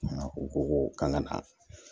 U ko ko k'an ka na